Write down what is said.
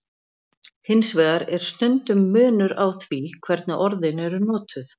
Hins vegar er stundum munur á því hvernig orðin eru notuð.